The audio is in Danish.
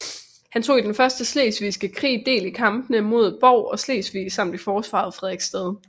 Han tog i den første slesvigske krig del i kampene ved Bov og Slesvig samt i forsvaret af Frederiksstad